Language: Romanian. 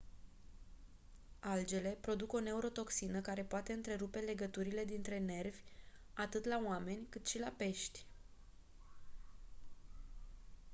algele produc o neurotoxină care poate întrerupe legăturile dintre nervi atât la oameni cât și la pești